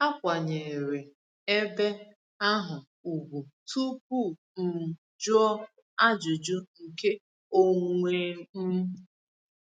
Akwanyeere ebe ahụ ugwu tupu m jụọ ajụjụ nke onwe m.